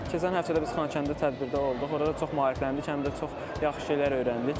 Keçən həftə də biz Xankəndə tədbirdə olduq, orada çox maarifləndik, həm də çox yaxşı şeylər öyrəndik.